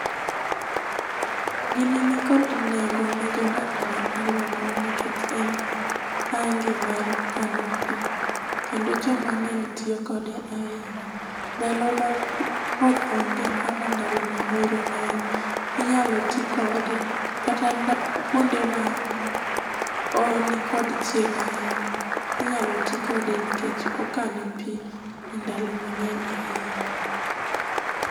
Gini nikod nengo ne jodak ma aluora wa nikech en tangi mar kano pii kendo joma ngeny tiyo kode ahinya. Ndalo ma koth onge ama ndalo ma oro ngenye inyalo tii kode kata kuonde ma nikod chieng ahinya inyalo tii kode nikech okano pii e ndalo mangeny ahinya